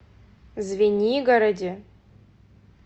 звенигороде